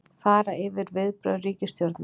Fara yfir viðbrögð ríkisstjórnar